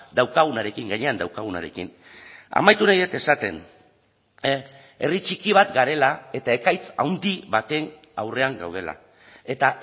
daukagunarekin gainean daukagunarekin amaitu nahi dut esaten herri txiki bat garela eta ekaitz handi baten aurrean gaudela eta